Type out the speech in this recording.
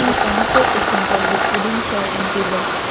the furniture is simple with wooden chair and tables.